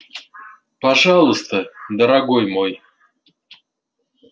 пожалуйста дорогой мой